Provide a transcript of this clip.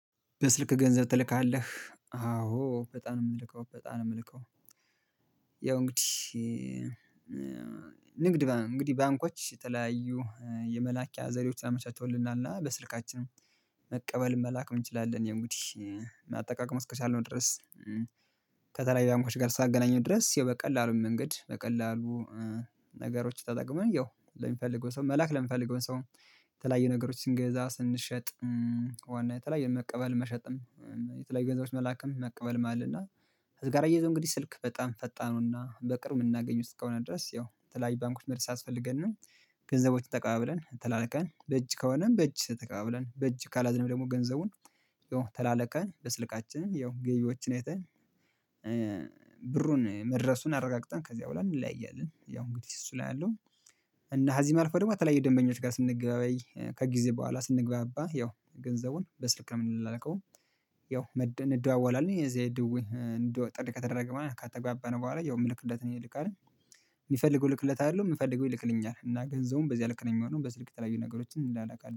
በስልክ ገንዘብ ትልካለህ አዎ በጣም ነው የምልከው በጣም ነው የምልከው። ያው እንግዲህ ንግድ እንግዲህ ባንኮች የተለያዩ የመላኪያ ዘዴዎች አመቻችተውልናል እና በስልካችን መቀበል መላክ እንችላለን ያው እንግዲህ አጠቃቀሙን እስከቻልነው ድረስ። ከተለያዩ ባንኮች ጋር ሳገናኘው ድረስ በቀላሉን መንገድ በቀላሉ ነገሮች ተጠቅመን ያው ለሚፈልግ በሰው መልአክ ለሚፈልገው ሰው የተለያየ ነገሮች ስንገዛ ስንሸጥ። ዋና የተለያየ መቀበል መሸጥም የተለያዩ ገንዘቦችም መላክም መቀበል አለ እና። ከዚህ ጋር አየያዞ እንግዲህ ስልክ በጣም ፈጣኑና በቅርብ የምናገኝው እስከ ሆነ ድረስ ያው የተለያዬ ባንኮቺ መሄድ ሳያስፈልገን። ገንዘቦችን ተቀባብለን ተላልከን በእጅ ከሆነን በእጅ ተቀባብለን በእጅ ካላዝንም ደግሞ ገንዘቡን ተላልከን በስልካችን ያው ገቢዎችን አይተን። ብሩን መድረሱን አረጋግጣለሁ ከዚያ በኋላ እንለያያለን። ያው እንግዲህ እሱ ላይ አለው። እና ከዚህም አልፈው ደግሞ ተለያየ ደንበኞች ጋር ስንገበያይ ከጊዜ በኋላ ስንግባባ ያው ገንዘቡን በስልክ ምንለላከወም። ያው አንደዋወላን የዚህ ጥሪ ከተደረገ ማለት ከተግባባን በኋላ ያው የምልክለት ይልካል። የሚፈልገውን እልክለታለው የምፈልገውን ይልክልኛል እና ገንዘቡም በዚያ ልክ ነው የሚሆነው በስልክ የተለያዩ ነገሮችን እለላካለን